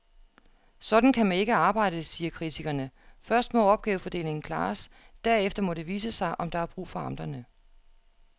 Sådan kan man ikke arbejde, siger kritikerne, først må opgavefordelingen klares, derefter må det vise sig, om der er brug for amterne.